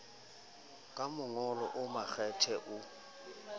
ka mongolo o makgethe o